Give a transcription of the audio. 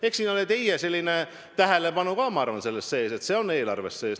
Eks selles ole teie sellist tähelepanu ka, ma arvan, et see on eelarves sees.